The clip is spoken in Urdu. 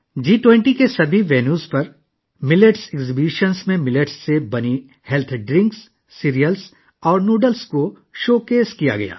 جی 20 کے تمام مقامات پر جوار کی نمائشوں میں صحت سے متعلق مشروبات، اناج اور جوار سے بنائے گئے نوڈلز کی نمائش کی گئی